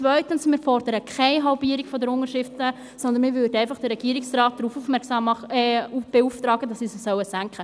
Wir fordern keine Halbierung der Unterschriften, sondern würden den Regierungsrat beauftragen, diese zu senken.